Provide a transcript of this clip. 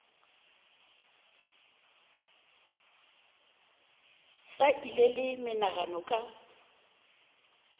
sa ile le menagano ka